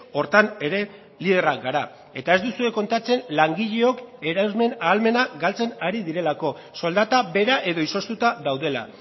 horretan ere liderrak gara eta ez duzue kontatzen langileok erosmen ahalmena galtzen ari direlako soldata bera edo izoztuta daudela